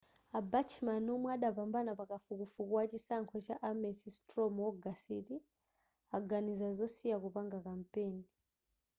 a bachmann omwe adapambana pa kafukufuku wa chisankho cha ames straw mu ogasiti aganiza zosiya kupanga kampeni